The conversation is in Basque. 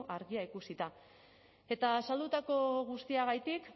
argia ikusita eta azaldutako guztiagatik